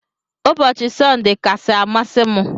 Ụbọchi sunday kasi amasi mu.